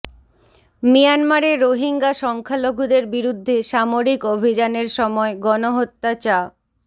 মিয়ানমারে রোহিঙ্গা সংখ্যালঘুদের বিরুদ্ধে সামরিক অভিযানের সময় গণহত্যা চা